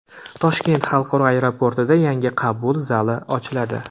Toshkent xalqaro aeroportida yangi qabul zali ochiladi .